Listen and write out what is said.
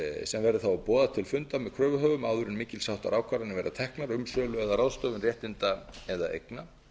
sem verði þá að boða til fundar með kröfuhöfum áður en mikils háttar ákvarðanir verða teknar um sölu eða ráðstöfun réttinda eða eigna